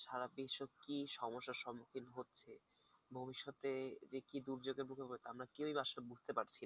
সারা বিশ্ব যে কী সমস্যার সমুখীন হচ্ছে ভবিষ্যতে যে কি দুর্যোগের মুখে আমরা কেউই আসলে বুঝতে পারছিনা।